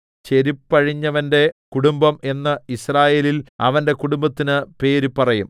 ചെരിപ്പഴിഞ്ഞവന്റെ കുടുംബം എന്ന് യിസ്രായേലിൽ അവന്റെ കുടുംബത്തിന് പേര് പറയും